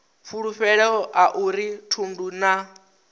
fulufhelo a uri thundu na